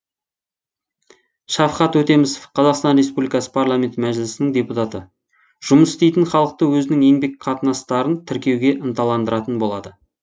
шавхат өтмемісов қазақстан республикасы парламенті мәжілісінің депутаты жұмыс істейтін халықты өзінің еңбек қатынастарын тіркеуге ынтыландыратын болады